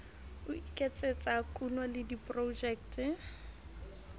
ho iketsetsa kuno le diprojeke